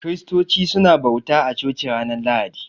Kiristoci su na bauta a coci ranar lahadi